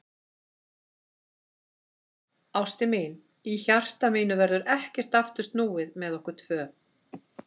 Ástin mín, í hjarta mínu verður ekkert aftur snúið með okkur tvö.